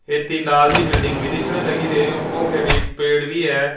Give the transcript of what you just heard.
ਇਹ ਤੇ ਲਾਲ ਜਿਹੀ ਬਿਲਡਿੰਗ ਵੀ ਦਿੱਖ ਰਹੀ ਰੇ ਉਪੋ ਪੇੜ ਵੀ ਹੈ।